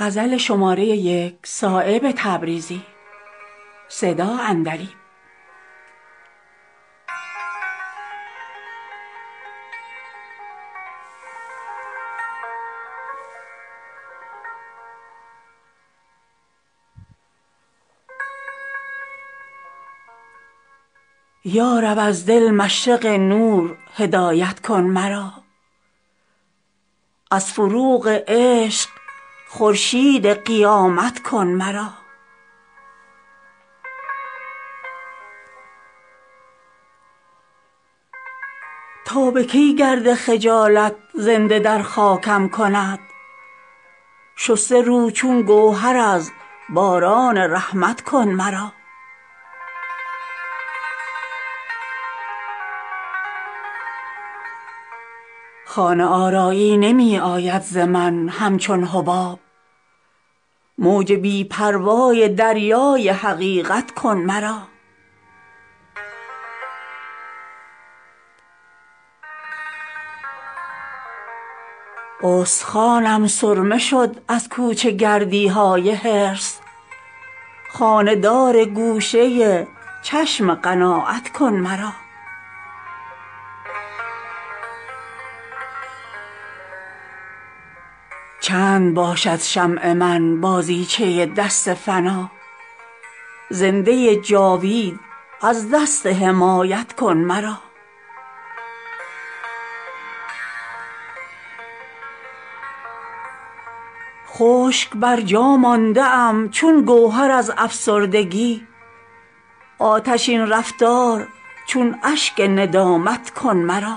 یارب از دل مشرق نور هدایت کن مرا از فروغ چشم خورشید قیامت کن مرا تا به کی گرد خجالت زنده در خاکم کند شسته رو چون گوهر از باران رحمت کن مرا خانه آرایی نمی آید ز من همچون حباب موج بی پروای دریای حقیقت کن مرا استخوانم سرمه شد از کوچه گردی های حرص خانه دار گوشه چشم قناعت کن مرا چند باشد شمع من بازیچه باد فنا زنده جاوید از دست حمایت کن مرا بهر تعمیر گهر گرد یتیمی لایق است از غبار خاکساری ها عمارت کن مرا خشک بر جا مانده ام چون گوهر از افسردگی آتشین رفتار چون اشک ندامت کن مرا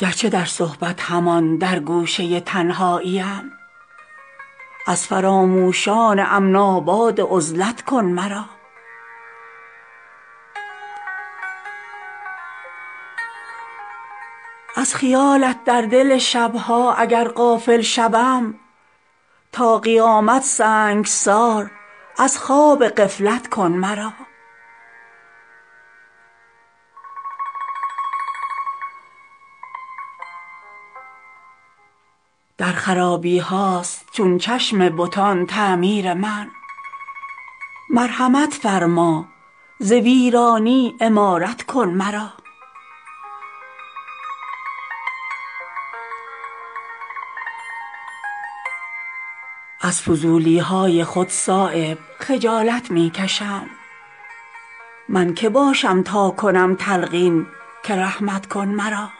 گرچه در صحبت همان در گوشه تنهاییم از فراموشان امن آباد عزلت کن مرا از خیالت در دل شبها اگر غافل شوم تا قیامت سنگسار از خواب غفلت کن مرا بی طفیلی نیست مهمانخانه اهل کرم با سیه رویی به کار اهل جنت کن مرا گر ندانم قدر تلخی های شورانگیز عشق زهر در کام از شکرخند حلاوت کن مرا در خرابی هاست چون چشم بتان تعمیر من مرحمت فرما ز ویرانی عمارت کن مرا خال عصیان برنمی تابد دل خونین من لاله بی داغ صحرای قیامت کن مرا از فضولی های خود صایب خجالت می کشم من که باشم تا کنم تلقین که رحمت کن مرا